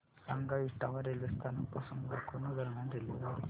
सांगा इटावा रेल्वे स्थानक पासून लखनौ दरम्यान रेल्वेगाडी